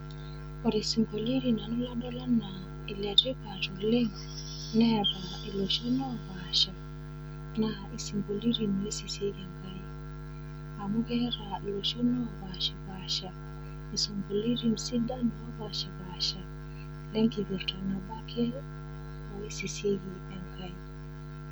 Ore isinkolioitin ladol anaa iletipat oleng, neata iloshon opaasha, naa isinkolioitin loisisieki Enkai. Amu keata iloshon opaashipaasha isinkolioitin sidan opaasha enkipirta oisisieki Enkai.